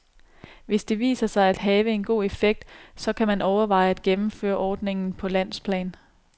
Hvis det viser sig at have en god effekt, så kan man overveje at gennemføre ordningen på landsplan.